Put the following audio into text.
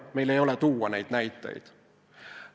Meil ei ole tuua neid näiteid.